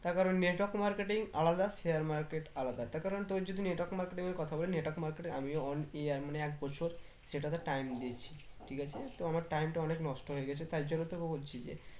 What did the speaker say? তার কারণ network marketing আলাদা share market আলাদা তার কারণ তোর যদি network marketing এর কথা বলি network market এ আমিও one year মানে এক বছর সেটাতে time দিয়েছি ঠিক আছে তোর আমার time টা অনেক নষ্ট হয়ে গেছে তার জন্য তোকে বলছি যে